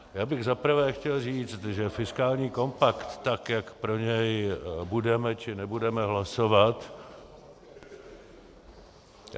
Já bych za prvé chtěl říct, že fiskální kompakt tak, jak pro něj budeme, či nebudeme hlasovat...